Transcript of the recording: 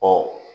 Ɔ